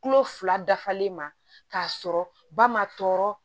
Kulo fila dafalen ma k'a sɔrɔ ba ma tɔɔrɔ